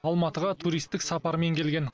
алматыға туристік сапармен келген